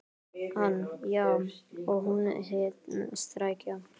Hann: Já, og hún hét Skrækja.